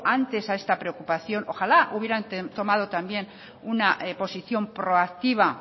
antes a esta preocupación ojalá hubieran tomado también una posición proactiva